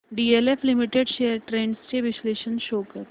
DLF limited shares trends चे विश्लेषण show कर